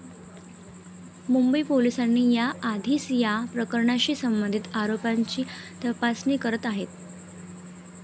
मुंबई पोलिसांनी याआधीच या प्रकरणाशी संबंधित आरोपांची तपासणी करत आहेत.